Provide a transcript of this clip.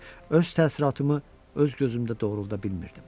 Öz təəssüratımı öz gözümdə doğruda bilmirdim.